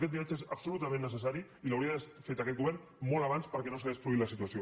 aquest viatge és absolutament necessari i l’hauria d’haver fet aquest govern molt abans perquè no s’hagués produït la situació